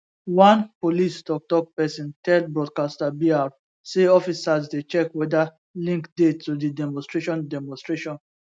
one police toktok pesin tell broadcaster br say officers dey check weda link dey to di demonstration demonstration